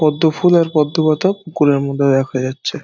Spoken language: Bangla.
পদ্ম ফুল আর পদ্ম পাতা পুকুরের মধ্যে দেখা যাচ্ছে।